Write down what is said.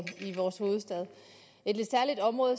i vores hovedstad et lidt særligt område